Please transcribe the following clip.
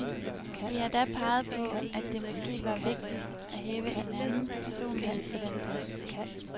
Vi har da peget på, at det måske var rigtigst at have en anden personlighed på den post.